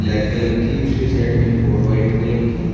black colour की उसकी side में एक और व्हाइट कलर की--